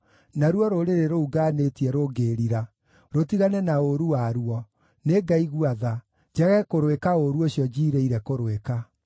naruo rũrĩrĩ rũu ngaanĩtie rũngĩĩrira, rũtigane na ũũru waruo, nĩngaigua tha, njage kũrũĩka ũũru ũcio njiirĩire kũrũĩka.